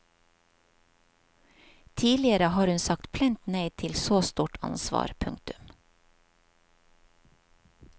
Tidligere har hun sagt plent nei til så stort ansvar. punktum